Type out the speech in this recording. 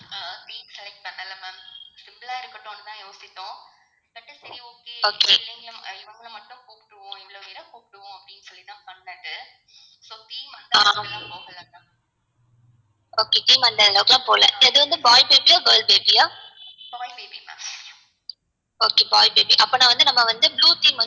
okay அது வந்து boy baby ஆ girl baby ஆ okay boy baby அப்பனா வந்து நம்ம வந்து blue theme